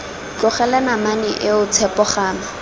tlogela namane eo tshepo gama